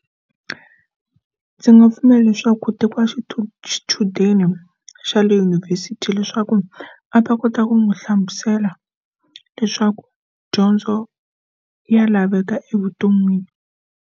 Ndzi nga pfumela leswaku ku tekiwa xithuvi xichudeni xa le yunivhesiti leswaku a va kota ku n'wi hlamusela leswaku dyondzo ya laveka evuton'wini.